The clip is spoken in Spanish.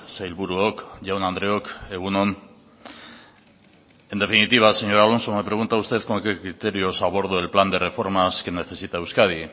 sailburuok jaun andreok egun on en definitiva señor alonso me pregunta usted con qué criterios abordo el plan de reformas que necesita euskadi